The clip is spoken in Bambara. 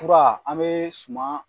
fura an bɛ suma